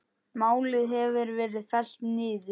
Málið hefur verið fellt niður.